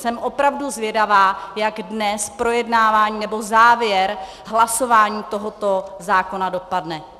Jsem opravdu zvědavá, jak dnes projednávání nebo závěr hlasování tohoto zákona dopadne.